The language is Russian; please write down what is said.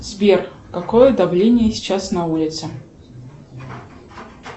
сбер какое давление сейчас на улице